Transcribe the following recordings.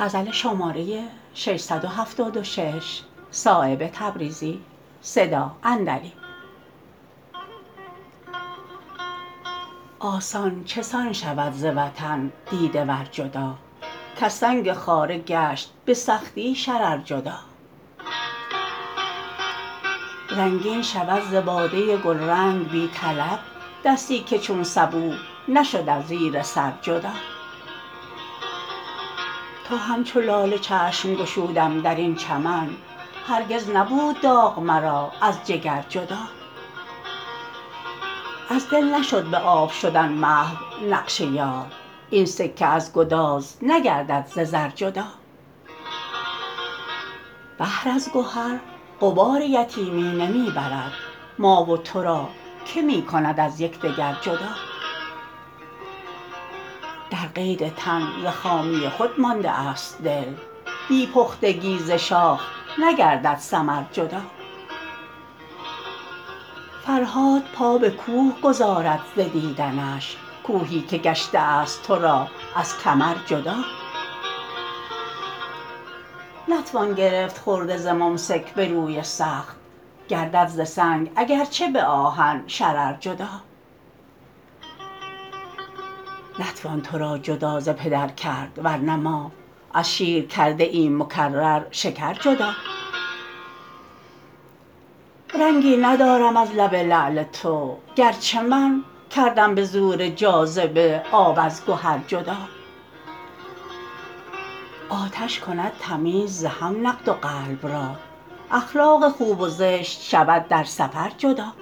آسان چسان شود ز وطن دیده ور جدا کز سنگ خاره گشت به سختی شرر جدا رنگین شود ز باده گلرنگ بی طلب دستی که چون سبو نشد از زیر سر جدا تا همچو لاله چشم گشودم درین چمن هرگز نبود داغ مرا از جگر جدا از دل نشد به آب شدن محو نقش یار این سکه از گداز نگردد ز زر جدا بحر از گهر غبار یتیمی نمی برد ما و تراکه می کند از یکدگر جدا در قید تن ز خامی خود مانده است دل بی پختگی ز شاخ نگردد ثمر جدا فرهاد پا به کوه گذارد ز دیدنش کوهی که گشته است ترا از کمر جدا نتوان گرفت خرده ز ممسک به روی سخت گردد ز سنگ اگرچه به آهن شرر جدا نتوان ترا جدا ز پدر کرد ورنه ما از شیر کرده ایم مکرر شکر جدا رنگی ندارم از لب لعل تو گرچه من کردم به زور جاذبه آب از گهر جدا آتش کند تمیز ز هم نقد و قلب را اخلاق خوب و زشت شود در سفر جدا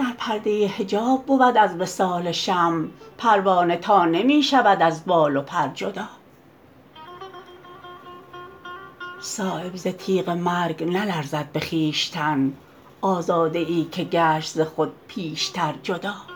در پرده حجاب بود از وصال شمع پروانه تا نمی شود از بال و پر جدا صایب ز تیغ مرگ نلرزد به خویشتن آزاده ای که گشت ز خود پیشتر جدا